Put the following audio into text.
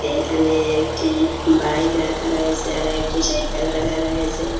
এইকানে একটি বাইক রাখা রয়েসে আরো একটি সাইকেল রাখা রয়েসে ।